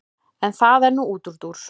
en það er nú útúrdúr